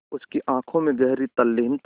उसकी आँखों में गहरी तल्लीनता थी